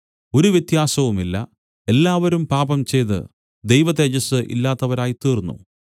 ഒരു വ്യത്യാസവുമില്ല എല്ലാവരും പാപംചെയ്തു ദൈവതേജസ്സ് ഇല്ലാത്തവരായിത്തീർന്നു